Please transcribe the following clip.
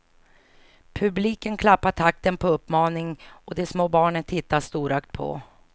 Publiken klappar takten på uppmaning och de små barnen tittar storögt på.